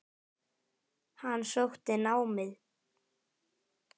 Hann sótti námið.